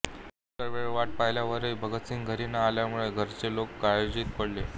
पुष्कळ वेळ वाट पाहिल्यावरही भगतसिंह घरी न आल्यामुळे घरचे लोक काळजीत पडले